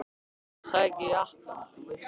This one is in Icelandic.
Hann er að sækja jakkann þú veist.